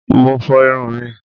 Mo fọ irun mi